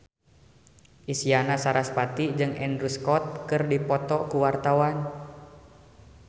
Isyana Sarasvati jeung Andrew Scott keur dipoto ku wartawan